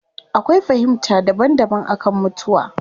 Akwai fahimta daban daban akan mutuwa